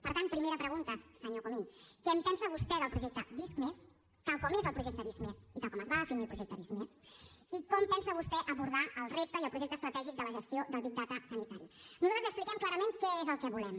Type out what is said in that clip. per tant primera pregunta senyor comín què en pensa vostè del projecte visc+ tal com és el projecte visc+ i tal com es va definir el projecte visc+ i com pensa vostè abordar el repte i el projecte estratègic de la gestió del big data sanitari nosaltres li expliquem clarament què és el que volem